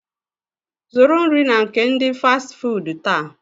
Zụrụ nri na nke ndi Fasti fuudu taa